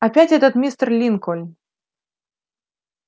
опять этот мистер линкольн